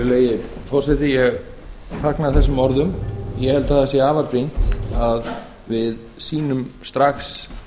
virðulegi forseti ég fagna þessum orðum ég held að það sé afar brýnt að við sýnum strax